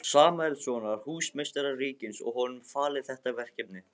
Samúelssonar, húsameistara ríkisins, og honum falið þetta verkefni.